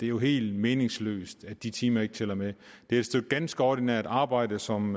jo helt meningsløst at de timer ikke tæller med det er et stykke ganske ordinært arbejde som